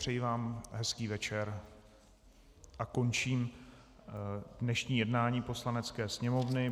Přeji vám hezký večer a končím dnešní jednání Poslanecké sněmovny.